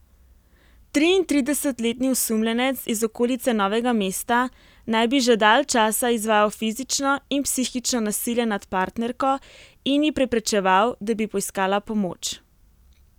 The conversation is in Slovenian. Triintridesetletni osumljenec iz okolice Novega mesta naj bi že dalj časa izvajal fizično in psihično nasilje nad partnerko in ji preprečeval, da bi poiskala pomoč.